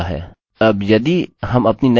तो हमने इसे किसी एरर के बिना कर लिया है